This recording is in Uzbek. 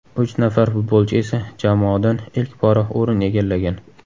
Uch nafar futbolchi esa jamoadan ilk bora o‘rin egallagan.